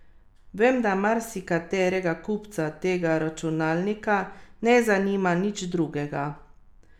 Prvi je dosegel devet točk, pet podaj in tri skoke, drugi pa v dve točki in dve podaji.